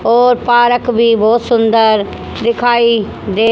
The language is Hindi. और पार्क भी बोहोत सुंदर दिखाई दे--